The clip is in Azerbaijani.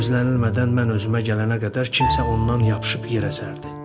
Gözlənilmədən mən özümə gələnə qədər kimsə ondan yapışıb yer əsərdi.